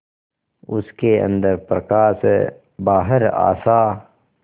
उसके अंदर प्रकाश है बाहर आशा